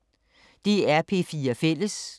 DR P4 Fælles